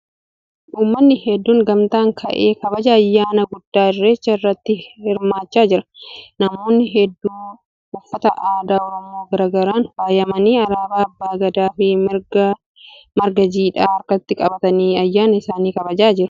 Uummanni hedduun gamtaa ba'ee kabaja ayyaana guddaa Irreechaa irratti hirmaachaa jira. Namoonni hedduun uffata aadaa Oromoo garagaraan faayamanii alaabaa abbaa gadaa fi marga jiidhaa harkatti qabatanii ayyaani isaanii kabajaa jiru.